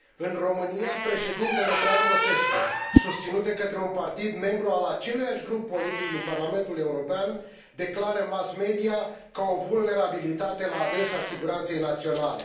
În România, președintele Traian Băsescu, susținut de către un partid membru al aceluiași grup politic din Parlamentul European, declară mass media ca o vulnerabilitate la adresa siguranței naționale.